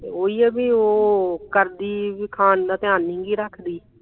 ਤੇ ਓਹੀ ਐ ਵੀ ਉਹ ਕਰਦੀ ਵੀ ਖਾਣ ਦਾ ਧਿਆਨ ਨਹੀਂ ਗੀ ਰੱਖਦੀ